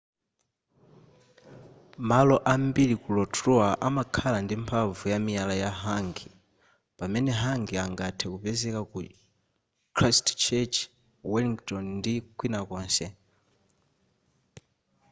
malo ambiri ku rotorua amakhala ndi mphamvu ya miyala ya hangi pamene hangi angathe kupezeka ku christchurch wellington ndi kwina konse